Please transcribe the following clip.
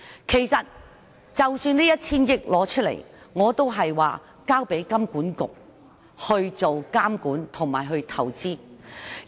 其實這 1,000 億元的撥款，我建議交給金融管理局監管和投資。